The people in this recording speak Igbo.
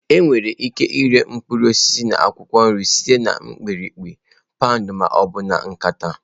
Enwere ike ịre mkpụrụ osisi na akwụkwọ nri site na mpempe, paụnd ma ọ bụ nkata.